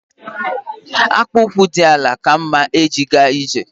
Akpu ụkwụ dị àlà ka mma e ji ga ije